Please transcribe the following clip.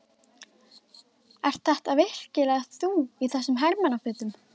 Ert þetta virkilega þú í þessum hermannafötum!